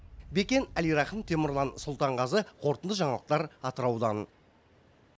бекен әлирахым темірлан сұлтанғазы қорытынды жаңалықтар атыраудан